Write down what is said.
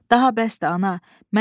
Daha bəsdir, ana!